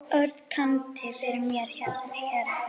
Örn kynnti fyrir mér herra